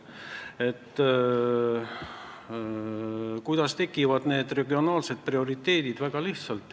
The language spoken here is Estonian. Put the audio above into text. Kuidas need regionaalsed prioriteedid tekivad?